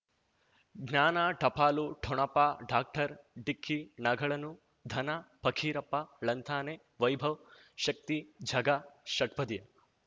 ಜ್ಞಾನ ಟಪಾಲು ಠೊಣಪ ಡಾಕ್ಟರ್ ಢಿಕ್ಕಿ ಣಗಳನು ಧನ ಫಕೀರಪ್ಪ ಳಂತಾನೆ ವೈಭವ್ ಶಕ್ತಿ ಝಗಾ ಷಟ್ಪದಿಯ